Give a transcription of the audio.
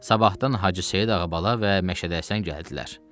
Sabahdan Hacı Seyid ağa bala və Məşədəsən gəldilər.